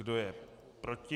Kdo je proti?